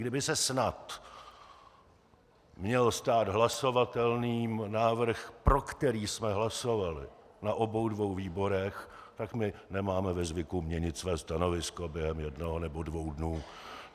Kdyby se snad měl stát hlasovatelným návrh, pro který jsme hlasovali na obou dvou výborech, tak my nemáme ve zvyku měnit své stanovisko během jednoho nebo dvou dnů.